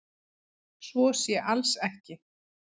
Svo sé alls ekki